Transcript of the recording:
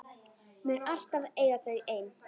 Mun alltaf eiga þau ein.